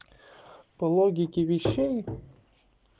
по логике вещей